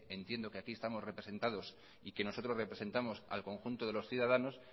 entiendo que aquí estamos representados y que nosotros representamos al conjunto de los ciudadanos